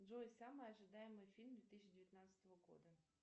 джой самый ожидаемый фильм две тысячи девятнадцатого года